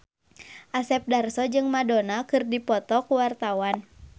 Asep Darso jeung Madonna keur dipoto ku wartawan